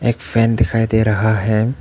एक फैन दिखाई दे रहा है।